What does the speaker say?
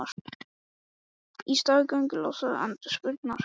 Í stað göngulags ástundar hún fjaðurmögnuð hopp.